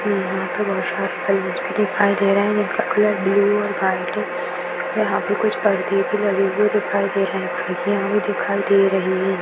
यहा पे बहुत शार बलून्स भी दिखाई दे रहे हैं जिनका कलर ब्लू और वाइट हैं यहा पे कुछ पर्दे भी लगे हुए दिखाई दे रहे हैं खिड़किया भी दिखाई दे रही हैं।